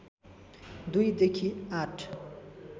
२ देखि ८